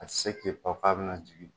A tɛ se k'i pan k'a bɛna jigin